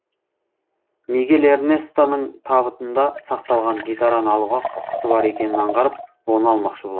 мигель эрнестоның табытында сақталған гитараны алуға құқысы бар екенін аңғарып оны алмақшы болады